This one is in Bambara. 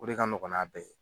O de ka nɔgɔn n'a bɛɛ ye.